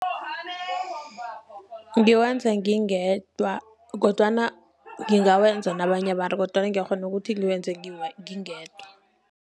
Ngiwenza ngingedwa kodwana ngingawenza nabanye abantu. Kodwana ngiyakghona ukuthi ngiwenze ngingedwa.